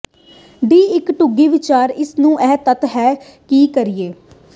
ਦੀ ਇੱਕ ਡੂੰਘੀ ਵਿਚਾਰ ਇਸ ਨੂੰ ਇਸ ਤੱਤ ਹੈ ਤੇ ਕਰੀਏ